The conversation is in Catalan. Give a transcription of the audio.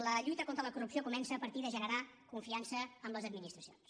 la lluita contra la corrupció comença a partir de generar confiança amb les administracions